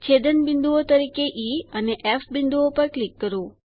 છેદન બિંદુઓ તરીકે ઇ અને ફ બિંદુઓ પર ક્લિક કરો